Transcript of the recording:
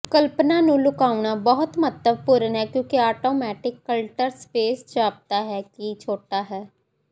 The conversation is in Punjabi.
ਕਲਪਨਾ ਨੂੰ ਲੁਕਾਉਣਾ ਬਹੁਤ ਮਹੱਤਵਪੂਰਨ ਹੈ ਕਿਉਂਕਿ ਆਟੋਮੈਟਿਕ ਕਲੱਟਰ ਸਪੇਸ ਜਾਪਦਾ ਹੈ ਕਿ ਛੋਟਾ ਹੈ